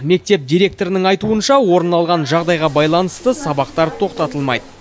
мектеп директорының айтуынша орын алған жағдайға байланысты сабақтар тоқтатылмайды